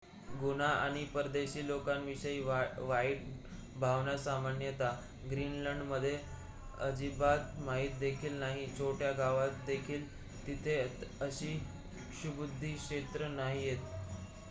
गुन्हा आणि परदेशी लोकांविषयी वाईट भावना सामान्यत ग्रीनलंडमध्ये अजिबात माहित देखील नाही छोट्या गावात देखील तिथे अशी क्षुब्ध क्षेत्रे' नाहीयेत